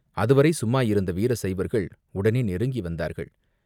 அதுவரை சும்மாயிருந்த வீர சைவர்கள் உடனே நெருங்கி வந்தார்கள்.